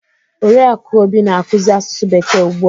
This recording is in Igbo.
Oriakụ Obi na-akuzi asusu bekee ugbu a.